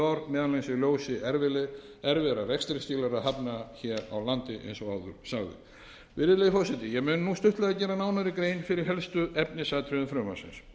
í ljósi erfiðra rekstrarskilyrða hafna hér á landi eins og áður sagði virðulegi forseti ég mun nú stuttlega gera nánari grein fyrir helstu efnisatriðum frumvarpsins